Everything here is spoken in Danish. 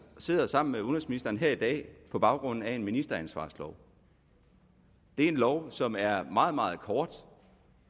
sidder sammen med udenrigsministeren her i dag på baggrund af en ministeransvarslov det er en lov som er meget meget kort